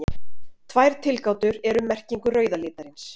Tvær tilgátur eru um merkingu rauða litarins.